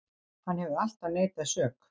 Hann hefur alltaf neitað sök